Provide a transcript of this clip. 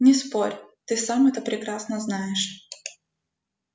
не спорь ты сам это прекрасно знаешь